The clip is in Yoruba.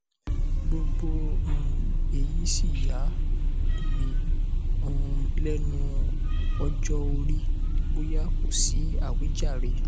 gbogbo um èyí sì yà um mí um lẹnu ọjọ orí bóyá kò sí àwíjàre